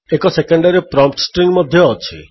ଏକ secondary prompt string ମଧ୍ୟ ଅଛି